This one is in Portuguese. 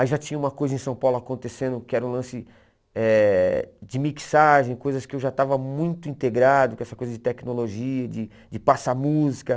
Aí já tinha uma coisa em São Paulo acontecendo que era o lance eh de mixagem, coisas que eu já estava muito integrado com essa coisa de tecnologia, de de passar música.